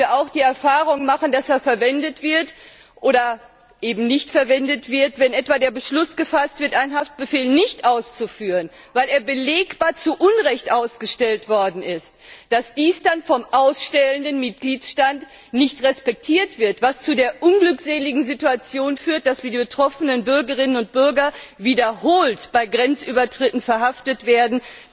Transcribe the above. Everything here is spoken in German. Leider mussten wir auch die Erfahrung machen, dass er verwendet wird, wenn etwa der Beschluss gefasst wird, einen Haftbefehl nicht auszuführen, weil er belegbar zu Unrecht ausgestellt worden ist, wobei dies dann vom ausstellenden Mitgliedstaat nicht respektiert wird, was zu der unglückseligen Situation führt, dass die betroffenen Bürgerinnen und Bürger wiederholt bei Grenzübertritten verhaftet werden.